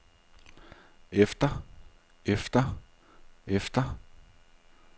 efter efter efter